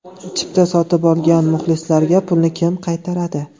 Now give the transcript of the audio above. Chipta sotib olgan muxlislarga pulni kim qaytaradi?